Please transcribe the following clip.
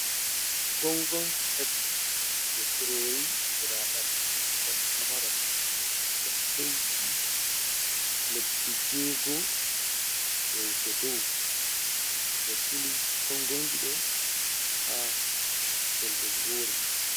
Gongonji tati, je kurori, ɓiraɗam ɓikkon pamaron, kon heuti lebbi jego yahugo dow. Ɓe sili gongonji ɗo ha pellel wore.